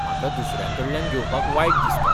म्हाका दुसऱ्यांकडल्यान घेवपाक वायट दिसता.